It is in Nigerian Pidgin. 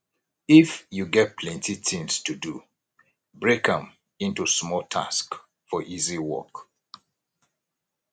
if you get plenty things to do break am into small tasks for easy work